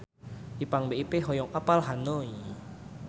Ipank BIP hoyong apal Hanoi